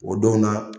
O don na